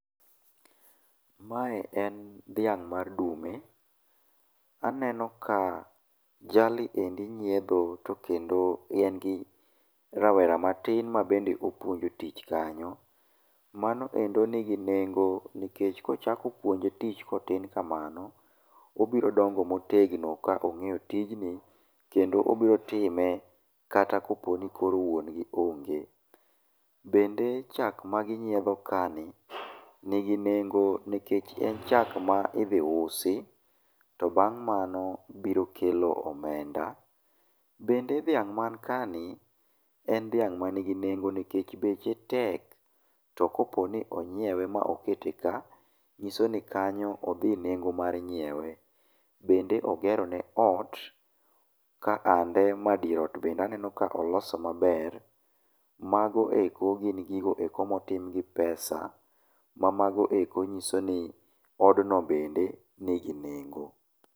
Mae en dhiang' mar dume. Aneno ka jali endi nyiedho to kendo en gi rawera matin ma bende opuonjo tich kanyo. Mano endi nigi nengo nikech kochako puonje tich kotin kamano, obiro dongo motegno kong'eyo tijni kendo obiro time kata kopo nikoro wuon gi onge. Bende chak ma ginyiedho kaeni, nigi nengo nikech en chak ma idhi usi, to bang' mano biro kelo omenda. Bende dhiang' man kaeni, en dhiang' man gi nengo nikech beche tek, to ka opo ni onyiewe ma okete ka, nyiso ni kanyo odhi nengo mar nyiewe. Bende ogero ne ot ma ka dier ot bende aneno ka olosone maber. Ma eko gin gik ma otim kod pesa ma mago eko nyiso ni odno bende nigi nengo.